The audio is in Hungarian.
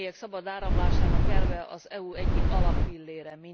A személyek szabad áramlásának elve az EU egyik alappillére.